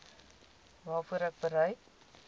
waarvoor ek bereid